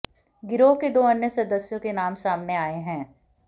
गिरोह के दो अन्य सदस्यों के नाम सामने आए हैं